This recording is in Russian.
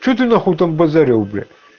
что ты на хуй там базарил блять